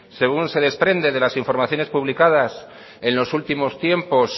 según se desprende de las informaciones publicadas en los últimos tiempos